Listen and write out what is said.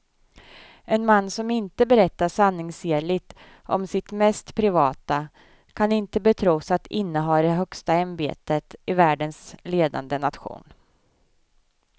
En man som inte berättar sanningsenligt om sitt mest privata kan inte betros att inneha det högsta ämbetet i världens ledande nation.